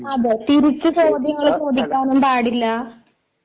അതേ തിരിച്ചു ചോദ്യങ്ങള് ചോദിക്കാനും പാടില്ല